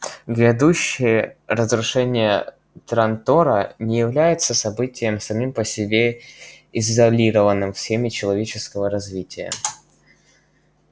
грядущее разрушение трантора не является событием самим по себе изолированным в схеме человеческого развития